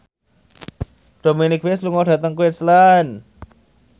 Dominic West lunga dhateng Queensland